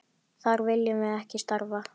Þar viljum við ekki starfa.